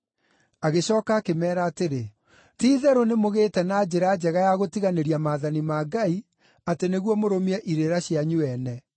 Agĩcooka akĩmeera atĩrĩ, “Ti-itherũ nĩmũgĩĩte na njĩra njega ya gũtiganĩria maathani ma Ngai atĩ nĩguo mũrũmie irĩra cianyu ene!